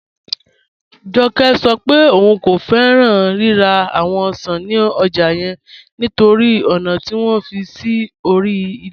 Jọ́kẹ́ sọ̀ pẹ̀ ọún kò fẹ́ran rírà awọn ọ̀ṣan ni ọ́jà yẹn nítorí ọna tí wọn fi sí orí ilẹ̀.